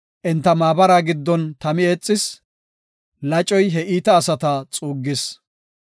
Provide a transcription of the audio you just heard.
Enta maabara giddon tami eexis; lacoy he iita asata xuuggis.